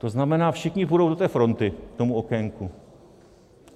To znamená, všichni půjdou do té fronty k tomu okénku.